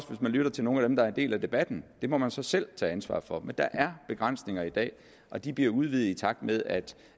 lytter til nogen af dem der er en del af debatten det må man så selv tage ansvaret for men der er begrænsninger i dag og de bliver udvidet i takt med at